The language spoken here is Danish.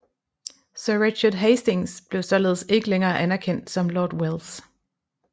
Sir Richard Hastings blev således ikke længere anerkendt som Lord Welles